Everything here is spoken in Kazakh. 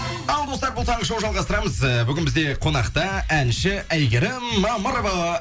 ал достар бұл таңғы шоу жалғастырамыз ы бүгін бізде қонақта әнші әйгерім мамырова